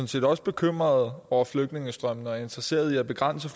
set også bekymret over flygtningestrømmene og er interesseret i at begrænse